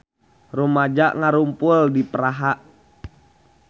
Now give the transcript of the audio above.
Rumaja ngarumpul di Praha